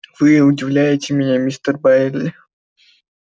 вы удивляете меня мистер байерли